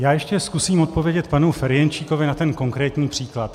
Já ještě zkusím odpovědět panu Ferjenčíkovi na ten konkrétní příklad.